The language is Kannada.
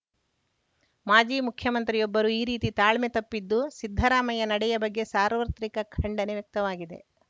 ಮಾಜಿ ಮುಖ್ಯಮಂತ್ರಿಯೊಬ್ಬರು ಈ ರೀತಿ ತಾಳ್ಮೆ ತಪ್ಪಿದ್ದು ಸಿದ್ದರಾಮಯ್ಯ ನಡೆಯ ಬಗ್ಗೆ ಸಾರ್ವತ್ರಿಕ ಖಂಡನೆ ವ್ಯಕ್ತವಾಗಿದೆ